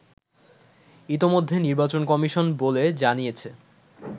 ইতোমধ্যে নির্বাচন কমিশন বলে জানিয়েছে